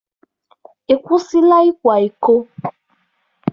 Ị kwụsịla ịkwa iko?